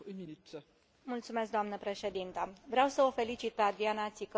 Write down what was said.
Vreau să o felicit pe Adriana Țicău pentru acordul ambițios cu Canada.